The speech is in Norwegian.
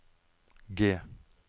G